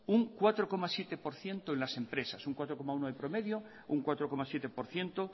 un cuatro coma siete por ciento en las empresas un cuatro coma uno de promedio un cuatro coma siete por ciento